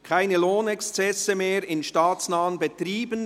«Keine Lohnexzesse mehr in staatsnahen Betrieben;